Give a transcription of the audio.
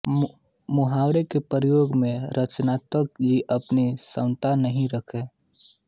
मुहावरों के प्रयोग में रत्नाकर जी अपनी समता नहीं रखते